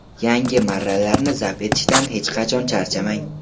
yangi marralarni zabt etishdan hech qachon charchamang!.